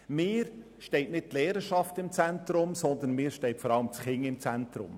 Für mich steht nicht die Lehrerschaft, sondern vor allem das Kind im Zentrum.